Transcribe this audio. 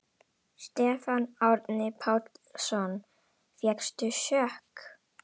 Stefán Árni Pálsson: Fékkstu sjokk?